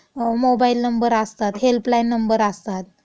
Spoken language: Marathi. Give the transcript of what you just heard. मोबाइल नंबर असतात, हेल्पलाइन नंबर असतात.